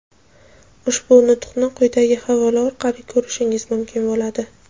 Ushbu nutqni quyidagi havola orqali ko‘rishingiz mumkin bo‘ladi:.